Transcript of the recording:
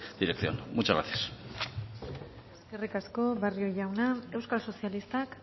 dirección muchas gracias eskerrik asko barrio jauna euskal sozialistak